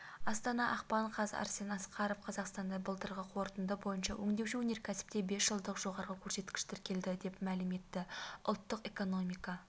астана ақпан қаз арсен асқаров қазақстанда былтырғы қорытынды бойынша өңдеуші өнеркәсіпте бес жылдық жоғары көрсеткіш тіркелді дәп мәлім етті ұлттық экономика